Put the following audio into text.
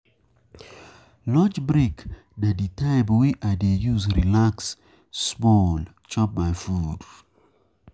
Lunch break na di time wey I dey use relax small chop my food.